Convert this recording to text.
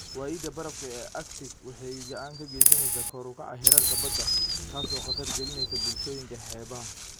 Waayida barafka ee Arctic waxay gacan ka geysaneysaa kor u kaca heerarka badda, taas oo khatar gelinaysa bulshooyinka xeebaha.